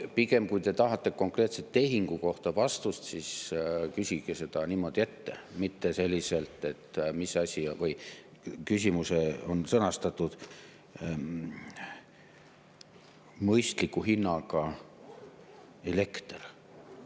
Pigem, kui te tahate konkreetse tehingu kohta vastust, siis küsige seda niimoodi ette, mitte selliselt, et küsimus on sõnastatud "Mõistliku hinnaga elekter".